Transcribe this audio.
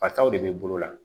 Fataw de be bolo la